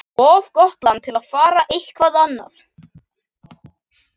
Of gott land til að fara eitthvað annað.